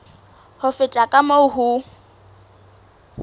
ho feta ka moo ho